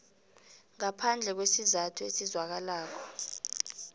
ngaphandle kwesizathu esizwakalako